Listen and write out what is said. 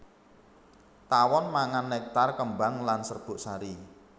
Tawon mangan nektar kembang lan serbuk sari